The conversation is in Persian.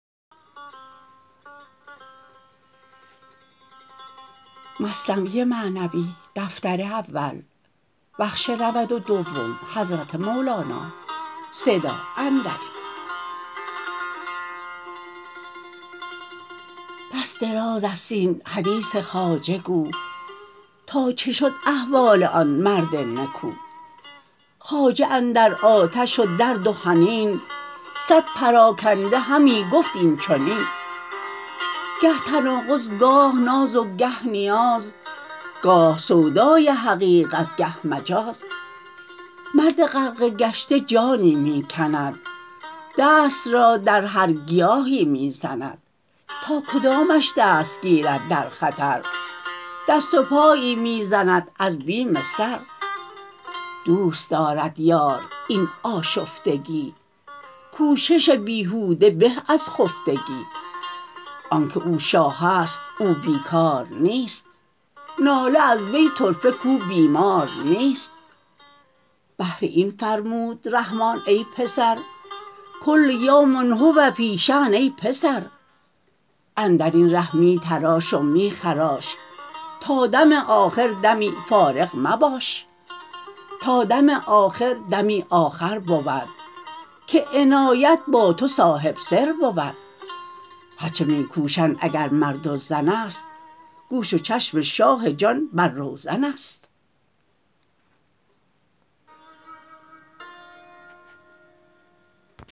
بس دراز است این حدیث خواجه گو تا چه شد احوال آن مرد نکو خواجه اندر آتش و درد و حنین صد پراکنده همی گفت این چنین گه تناقض گاه ناز و گه نیاز گاه سودای حقیقت گه مجاز مرد غرقه گشته جانی می کند دست را در هر گیاهی می زند تا کدامش دست گیرد در خطر دست و پایی می زند از بیم سر دوست دارد یار این آشفتگی کوشش بیهوده به از خفتگی آنک او شاهست او بی کار نیست ناله از وی طرفه کو بیمار نیست بهر این فرمود رحمان ای پسر کل یوم هو فی شان ای پسر اندرین ره می تراش و می خراش تا دم آخر دمی فارغ مباش تا دم آخر دمی آخر بود که عنایت با تو صاحب سر بود هر چه می کوشند اگر مرد و زنست گوش و چشم شاه جان بر روزنست